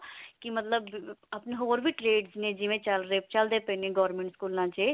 ਕੀ ਮਤਲਬ ਆਪਣੇ ਹੋਰ ਵੀ trades ਨੇ ਜਿਵੇਂ ਚਲ ਰਹੇ ਚਲਦੇ ਪਏ ਨੇ ਸਕੂਲਾਂ ਚ